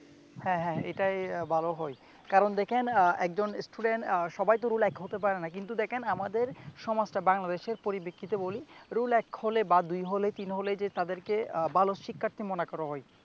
হ্যা হ্যা এটাই ভালো হয় কারণ দেখেন আহ একজন student আহ সবাইতো রোল এক হতে পারে না কিন্তু দেখেন আমাদের সমাজটা বাংলাদেশের পরিপ্রেক্ষিতে বলি রোল এক হলে বা দুই হলে তিন হলেই যে তাদেরকে ভালো শিক্ষার্থী মনে করা হয়